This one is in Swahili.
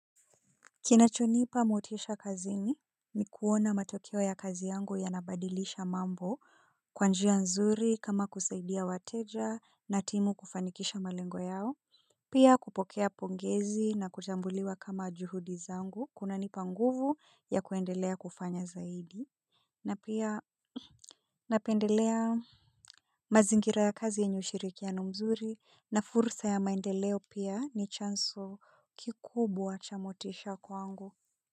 Kinachonipa motisha kazini ni kuona matokeo ya kazi yangu yanabadilisha mambo kwa njia nzuri kama kusaidia wateja na timu kufanikisha malengo yao. Pia kupokea pongezi na kuchambuliwa kama juhudi zangu kunanipa nguvu ya kuendelea kufanya zaidi. Na pia napendelea mazingira ya kazi ya yenye ushirikiano mzuri na fursa ya maendeleo pia ni chanzo kikubwa cha motisha kwangu. Kwa hivyo.